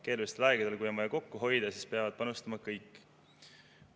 Keerulistel aegadel, kui on vaja kokku hoida, peavad panustama kõik.